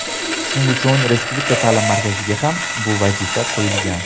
Shuning uchun Respublika ta’lim markaziga ham bu vazifa qo‘yilgan.